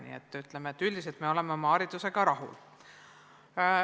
Nii et ütleme, et üldiselt me oleme oma haridusega rahul.